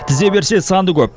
тізе берсе саны көп